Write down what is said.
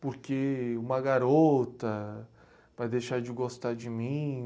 porque uma garota vai deixar de gostar de mim.